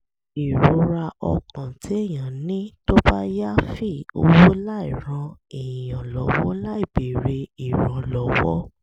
ìrora ọkàn téèyàn ní tó bá yááfì owó láìran èèyàn lọ́wọ́ láìbéèrè ìrànlọ́wọ́